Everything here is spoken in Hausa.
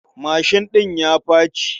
Mashin ɗin ya faci.